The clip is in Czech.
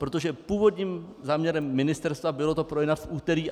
Protože původním záměrem ministerstva bylo to projednat v úterý.